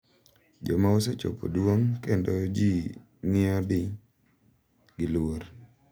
Joma osechopo duong’ kendo ji ng’iyogi gi luor.